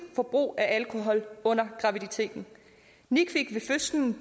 forbrug af alkohol under graviditeten nick fik ved fødslen